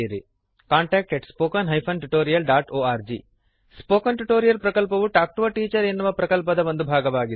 contact at spoken hyphen tutorial dot org spoken tutorial ಪ್ರಕಲ್ಪವು talk to a teacher ಎನ್ನುವ ಪ್ರಕಲ್ಪದ ಒಂದು ಭಾಗವಾಗಿದೆ